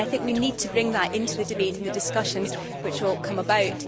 I think we need to bring that into the debate and the discussions which will come about.